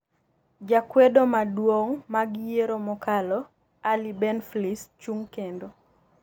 jakwedo maduong' mag yiero mokalo Ali Benflis chung kendo